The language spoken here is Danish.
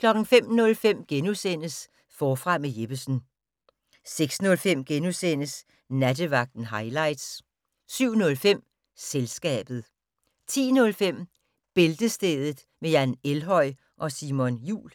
05:05: Forfra med Jeppesen * 06:05: Nattevagten highlights * 07:05: Selskabet 10:05: Bæltestedet med Jan Elhøj og Simon Jul